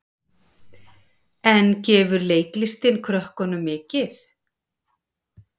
En gefur leiklistin krökkunum mikið?